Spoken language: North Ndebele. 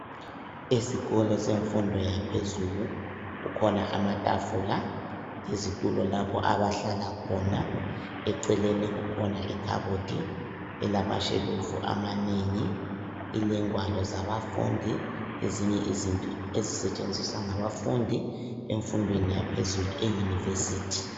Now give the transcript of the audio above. Isikolo semfundo yaphezulu. Kukhona amatafula, izitulo lapho abahlala khona. Eceleni kukhona ikhabothi elamashelufu amanengi. Ilengwalo zabafundi lezinye izinto ezisetshenziswa ngabafundi emfundweni yaphezulu euniversity.